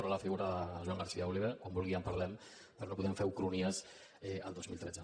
per alfigura de joan garcia oliver quan vulgui en parlem però no podem fer ucronies el dos mil tretze